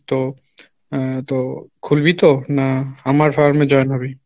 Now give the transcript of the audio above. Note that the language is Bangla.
তো আহ তো খুলবি তো, না আমার farm এ join হবি?